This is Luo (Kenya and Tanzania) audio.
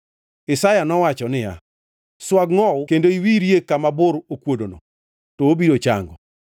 Isaya nowacho niya, “Swag ngʼowu kendo iwirie kama bur okuodono, to obiro chango.”